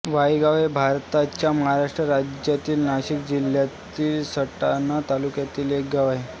वायगाव हे भारताच्या महाराष्ट्र राज्यातील नाशिक जिल्ह्यातील सटाणा तालुक्यातील एक गाव आहे